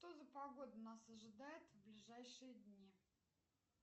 что за погода нас ожидает в ближайшие дни